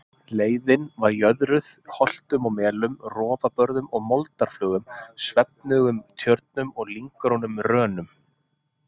Leiðin var jöðruð holtum og melum, rofabörðum og moldarflögum, svefnugum tjörnum og lynggrónum rönum.